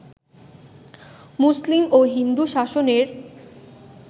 মুসলিম ও হিন্দু শাসনের